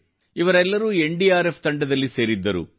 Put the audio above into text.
ಇವರೆಲ್ಲರೂ ಎನ್ಡಿಆರ್ಎಫ್ ತಂಡದಲ್ಲಿ ಸೇರಿದ್ದರು